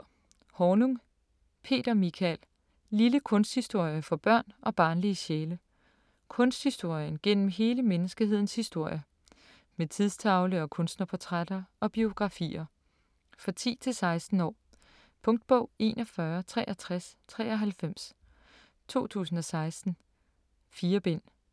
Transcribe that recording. Hornung, Peter Michael: Lille kunsthistorie for børn og barnlige sjæle Kunsthistorien gennem hele menneskehedens historie. Med tidstavle og kunstnerportrætter og -biografier. For 10-16 år. Punktbog 416393 2016. 4 bind.